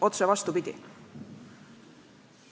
Otse vastupidi!